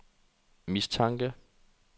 mistanke